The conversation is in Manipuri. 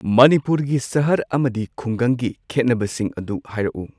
ꯃꯅꯤꯄꯨꯔꯒꯤ ꯁꯍꯔ ꯑꯃꯗꯤ ꯈꯨꯡꯒꯪꯒꯤ ꯈꯦꯠꯅꯕꯁꯤꯡ ꯑꯗꯨ ꯍꯥꯏꯔꯛꯎ꯫